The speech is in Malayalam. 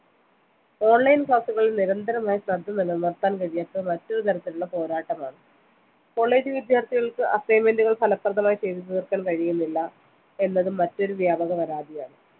online class ഉകൾ നിരന്തരമായി ശ്രദ്ധ നിലനിർത്താൻ കഴിയാത്ത മറ്റൊരു തരത്തിലുള്ള പോരാട്ടമാണ് college വിദ്യാർത്ഥികൾക്ക് assignment കൾ ഫലപ്രദമായി ചെയ്ത് തീർക്കാൻ കഴിയുന്നില്ല എന്നതും മറ്റൊരു വ്യാപക പരാതിയാണ്